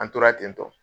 An tora ten tɔ